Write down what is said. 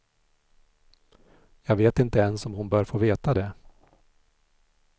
Jag vet inte ens om hon bör få veta det.